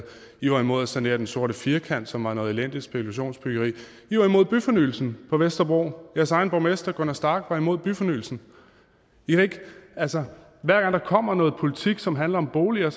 i var imod at sanere den sorte firkant som var noget elendigt spekulationsbyggeri i var imod byfornyelsen på vesterbro jeres egen borgmester gunna starck var imod byfornyelsen altså hver gang der kommer noget politik som handler om boliger